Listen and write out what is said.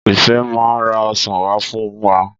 Ìfẹ́ máa ra ọsàn wá fún wa.